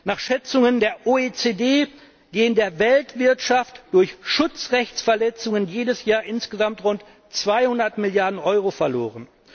Nach Schätzungen der OECD gehen der Weltwirtschaft durch Schutzrechtsverletzungen jedes Jahr insgesamt rund 200 Milliarden Euro verloren.